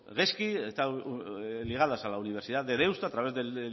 gezki está ligada a la universidad de deusto a través del